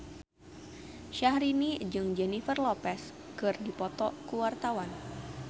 Syahrini jeung Jennifer Lopez keur dipoto ku wartawan